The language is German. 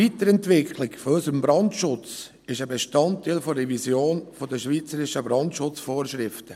Die Weiterentwicklung unseres Brandschutzes ist ein Bestandteil der Revision der schweizerischen Brandschutzvorschriften.